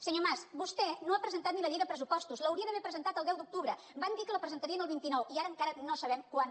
senyor mas vostè no ha presentat ni la llei de pressupostos l’hauria d’haver presentat el deu d’octubre van dir que la presentarien el vint nou i ara encara no sabem quan